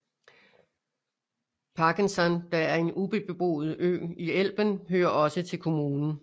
Pagensand der er en ubeboet ø i Elben hører også til kommunen